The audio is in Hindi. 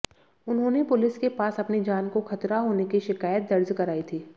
उन्होंने पुलिस के पास अपनी जान को खतरा होने की शिकायत दर्ज कराई थी